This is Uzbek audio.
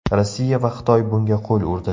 Rossiya va Xitoy bunga qo‘l urdi.